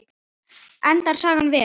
Endar sagan vel?